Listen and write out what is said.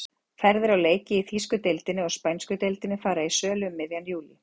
Ferðir á leiki í þýsku deildinni og spænsku deildinni fara í sölu um miðjan júlí.